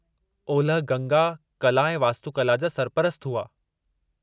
ओलह गंगा कला ऐं वास्तुकला जा सरपरस्तु हुआ।